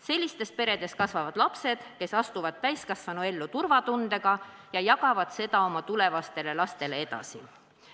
Sellistes peredes kasvavad lapsed, kes astuvad täiskasvanuellu turvatundega ja jagavad seda oma tulevastele lastele edasi.